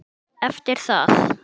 Eftir það